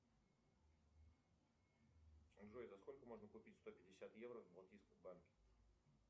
джой за сколько можно купить сто пятьдесят евро в балтийском банке